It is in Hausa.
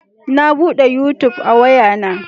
Na bude yutub a waya na